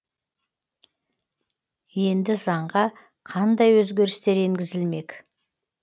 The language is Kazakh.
енді заңға қандай өзгерістер енгізілмек